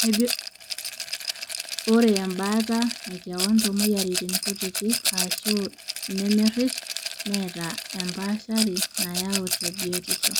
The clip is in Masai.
ore embaata ekewon toomweyiaritin kutitik aashu nemerish neeta empaashari nayau te biotishu